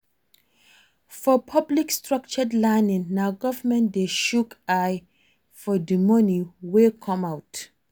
For public structured learning na government de shook eye for di moni wey come out